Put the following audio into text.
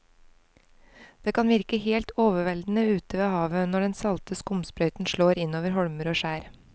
Det kan virke helt overveldende ute ved havet når den salte skumsprøyten slår innover holmer og skjær.